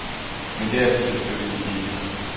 Men det er det selvfølgelig ikke.